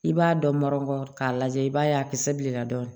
I b'a dɔ nɔrɔ k'a lajɛ i b'a ye a kisɛ bilenna dɔɔnin